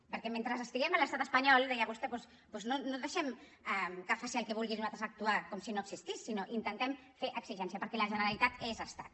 perquè mentre estiguem a l’estat espanyol deia vostè doncs no deixem que faci el que vulgui i nosaltres actuar com si no existís sinó que intentem fer exigència perquè la generalitat és estat